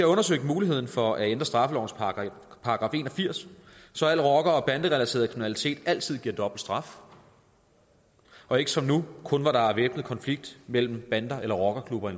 undersøgt muligheden for at ændre straffelovens § en og firs så al rocker og banderelateret kriminalitet altid giver dobbelt straf og ikke som nu kun hvor der er væbnet konflikt mellem bander eller rockerklubber